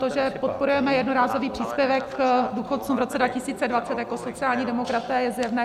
To, že podporujeme jednorázový příspěvek důchodcům v roce 2020 jako sociální demokraté, je zjevné.